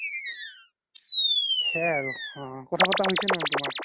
আছে আছে ভালকে আছে কেলেই সেই হ্'ব